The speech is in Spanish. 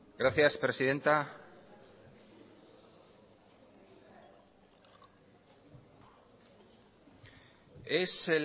gracias presidenta es